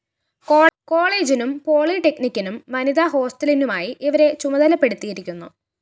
കോളേജിനും പോളിടെക്‌നിക്കിനും വനിതാ ഹോസ്റ്റലിനുമായി ഇവരെ ചുമതലപ്പെടുത്തിയിരിക്കുന്നു